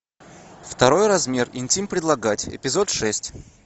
второй размер интим предлагать эпизод шесть